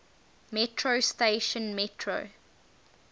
metro station metro